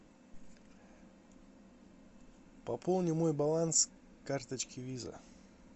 пополни мой баланс карточки виза